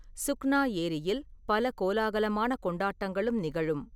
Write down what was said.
சுக்னா ஏரியில் பல கோலாகலமான கொண்டாட்டங்களும் நிகழும்.